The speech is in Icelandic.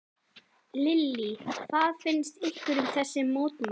Lillý: Hvað finnst ykkur um þessi mótmæli?